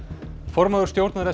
formaður stjórnar